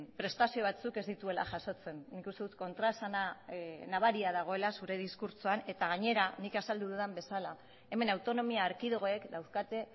prestazio batzuk ez dituela jasotzen nik uste dut kontraesana nabaria dagoela zure diskurtsoan eta gainera nik azaldu dudan bezala hemen autonomia erkidegoek daukate